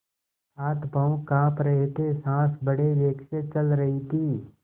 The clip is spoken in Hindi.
हाथपॉँव कॉँप रहे थे सॉँस बड़े वेग से चल रही थी